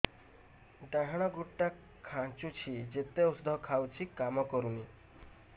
ଡାହାଣ ଗୁଡ଼ ଟା ଖାନ୍ଚୁଚି ଯେତେ ଉଷ୍ଧ ଖାଉଛି କାମ କରୁନି